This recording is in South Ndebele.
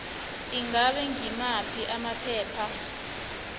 ingabe ngimaphi amaphepha